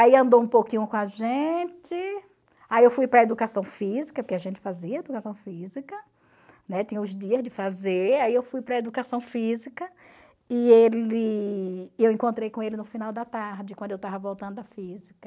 Aí andou um pouquinho com a gente, aí eu fui para a educação física, porque a gente fazia educação física, né, tinha os dias de fazer, aí eu fui para a educação física e ele e eu encontrei com ele no final da tarde, quando eu estava voltando da física.